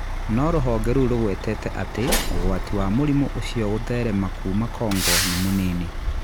No rũhonge rũu rũgwetete atĩ ũgwati wa mũrimũ ũcio kũtherema kuuma Congo nĩ mũnini.